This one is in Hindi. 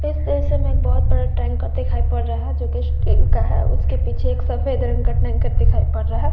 इस तस्वीर में एक लड़का दिखाई दे रहा है जिसने कुर्ते पहने हुए है ब्ल्यू कलर के और हाथ में काड़ा लिया हुआ है उसके पास एक फ्लावर पॉट दिखाई दे रहा है।